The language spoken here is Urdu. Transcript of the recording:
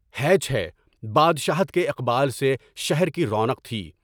ہینچ ہے، بادشاہت کے عروج سے شہر کی رونق تھی۔